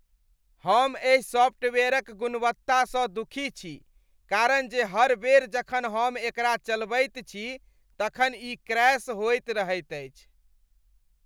हम एहि सॉफ्टवेयरक गुणवत्तासँ दुखी छी कारण जे हर बेर जखन हम एकरा चलबैत छी तखन ई क्रैश होइत रहैत अछि।